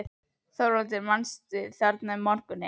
ÞORVALDUR: Þú manst: þarna um morguninn?